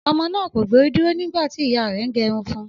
Ọmọ náà kò gbórí dúró nígbà tí ìyá rẹ̀ ń gẹrun fun